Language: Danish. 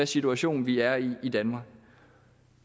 situation vi er i i danmark